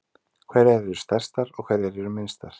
Hverjar eru stærstar og hverjar eru minnstar?